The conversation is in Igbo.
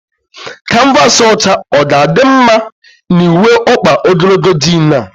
Kanvaasị ọcha ga adị mma na uwe ọkpa ogologo jiin a?